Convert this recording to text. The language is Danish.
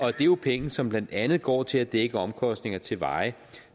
er jo penge som blandt andet går til at dække omkostninger til veje